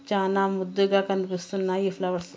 చానా ముద్దుగా కనిపిస్తున్నాయి ఈ ఫ్లవర్స్.